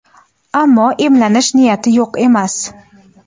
Ammo emlanish niyati yo‘q emas.